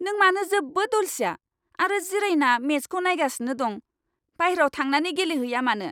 नों मानो जोबोद अलसिया आरो जिरायना मेचखौ नायगासिनो दं? बायह्रायाव थांनानै गेलेहैया मानो?